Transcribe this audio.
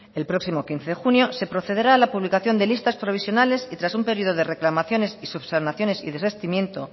el próximo quince de junio se procederá a la publicación de listas provisionales y tras un periodo de reclamaciones y subsanaciones y desistimiento